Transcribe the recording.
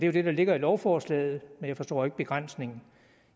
jo det der ligger i lovforslaget men jeg forstår ikke begrænsningen